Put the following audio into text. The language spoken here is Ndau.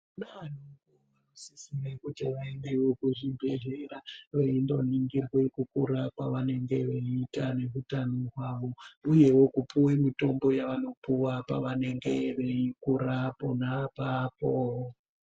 Kuti vaendeo kuzvibhedhlera veindoningirwa kukura kwavanenge veiita neutano hwavo uye kupuwewo mitombo yavanopuwa pavanenge veikura pona apapo.